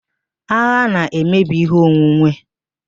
Agha na-emebi ihe onwunwe